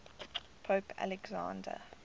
pope alexander